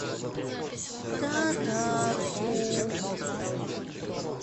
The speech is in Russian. татарску